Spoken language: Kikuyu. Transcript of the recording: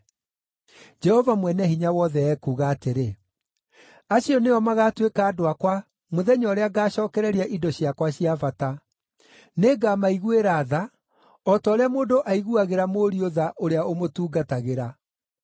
Jehova Mwene-Hinya-Wothe ekuuga atĩrĩ, “Acio nĩo magaatuĩka andũ akwa mũthenya ũrĩa ngaacookereria indo ciakwa cia bata. Nĩngamaiguĩra tha, o ta ũrĩa mũndũ aiguagĩra mũriũ tha ũrĩa ũmũtungatagĩra.